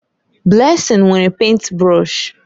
Blessing nwere pèịnt brọsh.